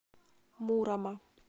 мурома